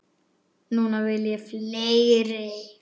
Núna vil ég fleiri.